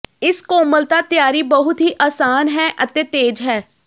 ਇਸ ਕੋਮਲਤਾ ਤਿਆਰੀ ਬਹੁਤ ਹੀ ਆਸਾਨ ਹੈ ਅਤੇ ਤੇਜ਼ ਹੈ